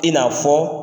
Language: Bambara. I n'a fɔ